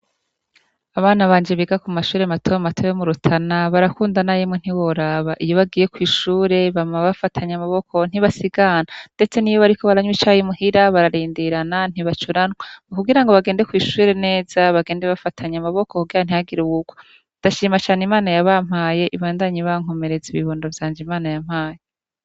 Abana banje biga ku mashure matomato yo mu Rutana barakundana yemwe ntiworaba iyo bagiye kw'ishure bama bafatanye amaboko ntibasigana ndetse niyo bariko baranywa icayi bararindirana ntibacuranwa kugira bagende kw'ishure neza bagende bafatanye amaboko kugira ntihagire uwurwa ndashima cane imana yabampaye ibankomereze ibibondo vyanje Imana yampaye.